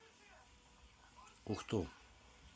ухту